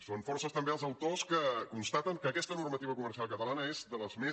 són força també els autors que constaten que aquesta normativa comercial catalana és de les més